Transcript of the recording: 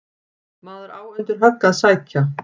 Maður á undir högg að sækja.